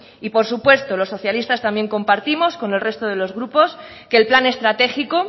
y por supuesto los socialistas también compartimos con el resto de los grupos que el plan estratégico